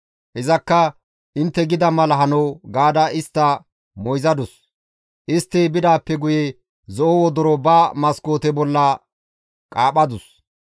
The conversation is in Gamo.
Izakka, «Intte gida mala hano» gaada istta moyzadus; istti bidaappe guye zo7o wodoro ba maskoote bolla qaaphadus.